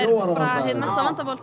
mesta vandamálið sem